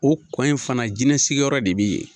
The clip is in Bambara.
O kɔ in fana jinɛsigiyɔrɔ de bɛ yen